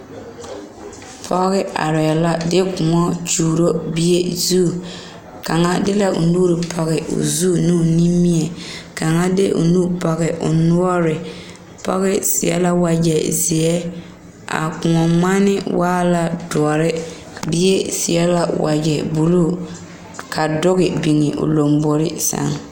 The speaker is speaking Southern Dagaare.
Pɔge arɛɛ la de kóɔ gyuuro bie zu kaŋa de la o nu pɔge o zu ne o nimie kaŋa de o.nu pɔge o noɔre pɔge seɛ la wagyɛ a kóɔ ŋmane waa la doɔre bie seɛ la wagyɛ buluu ka duge biŋ o lambori seŋ